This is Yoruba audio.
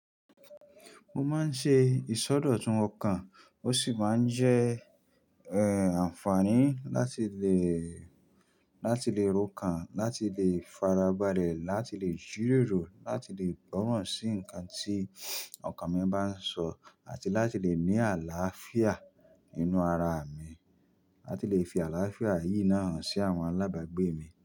Mo máa ń ṣe ìsọdọ̀tun ọkàn, ó sì máa ń jẹ́, eh, àǹfààní láti lè, láti lè ro kan, láti lè farabálẹ̀, láti lè jíròrò, láti lè gbọ́ràn sí ǹkan tí ọkàn mi bá ń sọ àti láti lè ní àlàáfíà nínú ara mi. Láti lè fi àlàáfíà yìí náà hàn sí àwọn alábàgbé mi.